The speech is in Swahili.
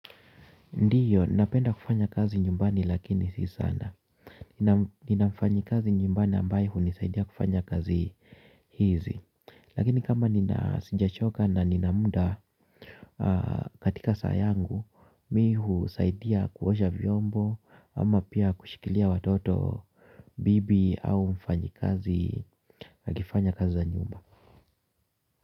Ndiyo, napenda kufanya kazi nyumbani lakini si sana. Nina mfanyikazi nyumbani ambaye hunisaidia kufanya kazi hizi. Lakini kama nina sijachoka na nina muda katika saa yangu, mi husaidia kuosha vyombo ama pia kushikilia watoto bibi au mfanyikazi akifanya kazi za nyumba.